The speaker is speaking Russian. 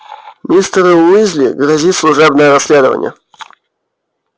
мистеру уизли грозит служебное расследование